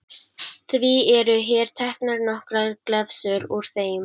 Því eru hér teknar nokkrar glefsur úr þeim